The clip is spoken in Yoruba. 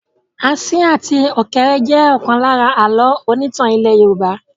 Asín àti ọ̀kéré jẹ ọ̀kan lára àlọ́ onítàn ilẹ́ Yorùbá.